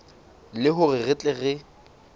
le hore re tle re